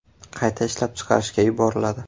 qayta ishlab chiqarishga yuboriladi.